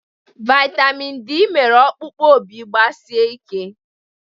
Vaịtamin D mere okpụkpụ Obi gbasie ike.